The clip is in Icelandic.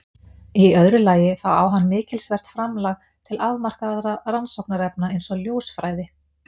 Í öðru lagi þá á hann mikilsvert framlag til afmarkaðra rannsóknarefna eins og ljósfræði.